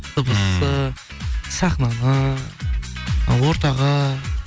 дыбысты сахнаны ы ортаға